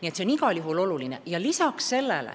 See on igal juhul oluline.